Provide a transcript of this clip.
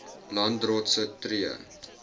landdroste tree